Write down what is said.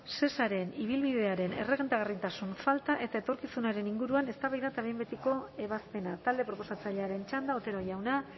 shesaren ibilbidearen errentagarritasun falta eta etorkizunaren inguruan eztabaida eta behin betiko ebazpena talde proposatzailearen txanda otero jauna